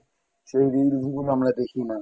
সেই reels গুলো আমরা দেখি না